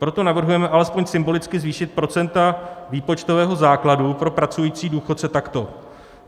Proto navrhujeme alespoň symbolicky zvýšit procenta výpočtového základu pro pracující důchodce takto.